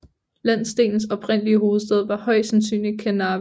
Landsdelens oprindelige hovedstad var højst sandsynligt Kernavė